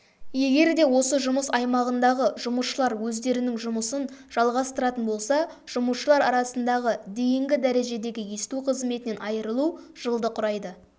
егерде осы жұмыс аймағындағы жұмысшылар өздерінің жұмысын жалғастыратын болса жұмысшылар арасындағы дейінгі дәрежедегі есту қызметінен айырылу жылды құрайды